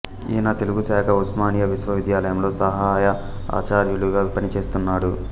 ఈయన తెలుగు శాఖ ఉస్మానియా విశ్వవిద్యాలయంలో సహాయ ఆచార్యులుగా పనిచేస్తున్నాడు